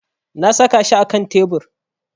Na sa shi akan tebur